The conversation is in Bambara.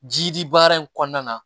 Ji di baara in kɔnɔna na